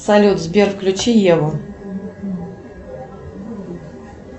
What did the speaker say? салют сбер включи еву